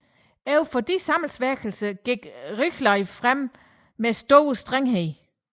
Over for disse sammensværgelser gik Richelieu frem med stor strenghed